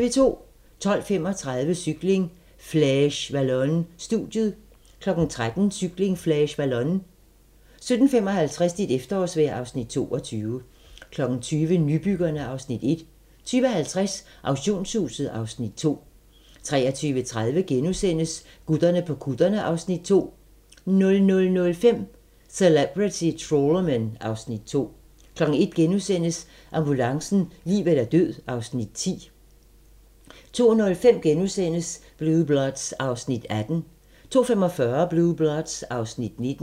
12:35: Cykling: Flèche Wallonne - studiet 13:00: Cykling: Flèche Wallonne 17:55: Dit efterårsvejr (Afs. 22) 20:00: Nybyggerne (Afs. 1) 20:50: Auktionshuset (Afs. 2) 23:30: Gutterne på kutterne (Afs. 2)* 00:05: Celebrity Trawlermen (Afs. 2) 01:00: Ambulancen - liv eller død (Afs. 10)* 02:05: Blue Bloods (Afs. 18)* 02:45: Blue Bloods (Afs. 19)